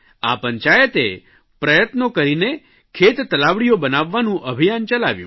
આ પંચાયતે પ્રયત્નો કરીને ખેત તલાવડીઓ બનાવવાનું અભિયાન ચલાવ્યું